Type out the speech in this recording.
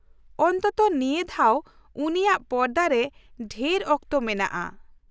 ᱚᱱᱛᱛᱚ ᱱᱤᱭᱟᱹ ᱫᱷᱟᱣ ᱩᱱᱤᱭᱟᱜ ᱯᱚᱨᱫᱟᱨᱮ ᱰᱷᱮᱨ ᱚᱠᱛᱚ ᱢᱮᱱᱟᱜᱼᱟ ᱾